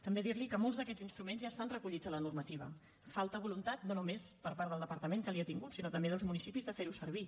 també dir li que molts d’aquests instruments ja estan recollits a la normativa falta voluntat no només per part del departament que n’ha tingut sinó també dels municipis de fer ho servir